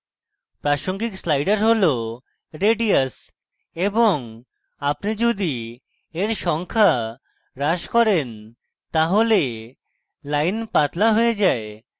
প্রাসঙ্গিক slider হল radius এবং আপনি the এর সংখ্যা হ্রাস করেন তাহলে lines পাতলা হয়ে যায়